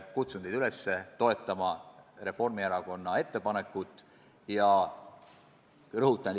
Kutsun teid üles toetama Reformierakonna ettepanekut!